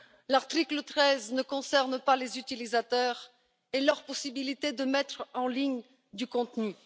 L'article 13 ne concerne pas les utilisateurs et leur possibilité de mettre en ligne du contenu